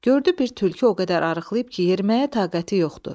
Gördü bir tülkü o qədər arıqlayıb ki, yeriməyə taqəti yoxdur.